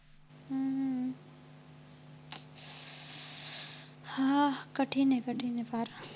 हा कठीण आहे कठीण आहे फार